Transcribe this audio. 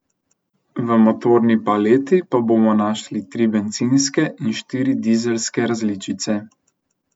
V motorni paleti bomo našli tri bencinske in štiri dizelske različice.